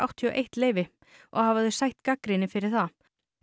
leyfi og hafa þau sætt gagnrýni fyrir það